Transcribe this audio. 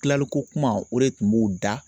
Kilalikokuma o de tun b'u da